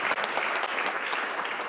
Aitäh sulle ka!